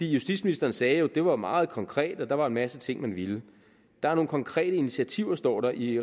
justitsministeren sagde at det var meget konkret og at der var en masse ting man ville der er nogle konkrete initiativer står der i